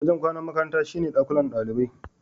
Wajen kwanan makarantar shine dakunan ɗalibai.